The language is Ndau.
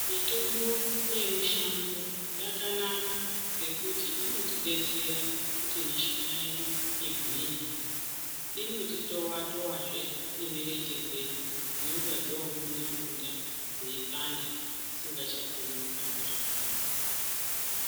Mitombo ye mushango yakanaka ngekuti inoti detsera kuti mishuna yedu igwinye inoti towa towa zvee ne mirenje dzedu dzinonga dzo ngunda ngunda dzei panda dzisinga chakoni kuhamba zvakanaka.